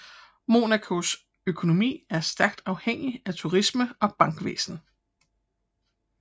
Monacos økonomi er stærkt afhængig af turisme og bankvæsen